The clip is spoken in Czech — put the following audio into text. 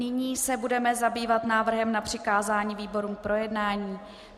Nyní se budeme zabývat návrhem na přikázání výborům k projednání.